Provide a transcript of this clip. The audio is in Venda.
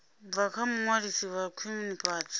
bva kha muṅwalisi wa khwinifhadzo